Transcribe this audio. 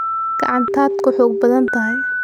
Gacantaad ku xoog badan tahay.